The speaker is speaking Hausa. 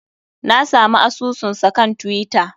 Na samu asusunsa kan twitter.